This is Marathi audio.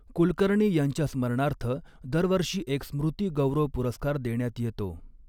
कुलकर्णी यांच्या स्मरणार्थ दरवर्षी एक स्मृ्ति गौरव पुरस्कार देण्यात येतो.